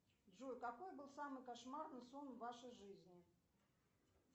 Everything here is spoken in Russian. джой какой был самый кошмарный сон в вашей жизни